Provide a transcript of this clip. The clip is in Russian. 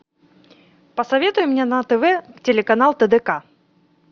посоветуй мне на тв телеканал тдк